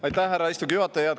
Aitäh, härra istungi juhataja!